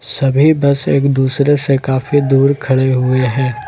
सभी बस एक दूसरे से काफी दूर खड़े हुए हैं।